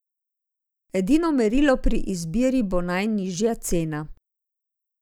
Edino merilo pri izbiri bo najnižja cena.